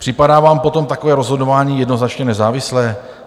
Připadá vám potom takové rozhodování jednoznačně nezávislé?